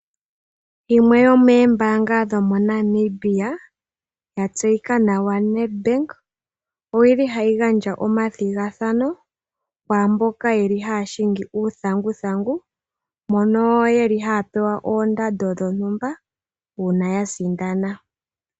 Yimwe yomoombaanga dho moNamibia yatseyika nawa Net bank, oyili hayi gandja omathigathano kwaamboka yeli haya hingi uuthanguthangu, mono yeli haya pewa oondando dhontumba uuna ya sindana.